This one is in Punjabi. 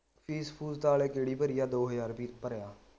fees ਫੂਸ ਤਾ ਆਲੇ ਕਿਹੜੀ ਭਰੀ ਆ ਦੋ ਹਜ਼ਾਰ ਰੁਪਏ ਭਰਿਆ